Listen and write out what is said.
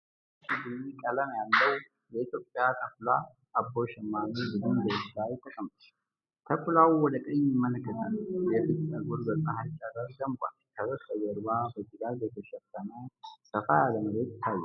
አንድ ቀይ ቡኒ ቀለም ያለው የኢትዮጵያ ተኩላ (አቦ ሸማኔ) በድንጋዮች ላይ ተቀምጧል። ተኩላው ወደ ቀኝ ይመለከታል፤ የፊቱ ፀጉር በፀሐይ ጨረር ደምቋል። ከበስተጀርባ በጭጋግ የተሸፈነ ሰፋ ያለ መሬት ይታያል።